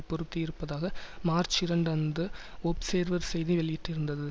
பொருத்தியிருப்பதாக March இரண்டு அன்று Observer செய்தி வெளியிட்டிருந்தது